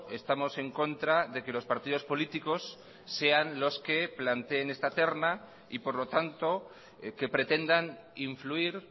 estamos en contra de que los partidos políticos sean los que planteen esta terna y por lo tanto que pretendan influir